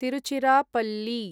Tiruchirappalli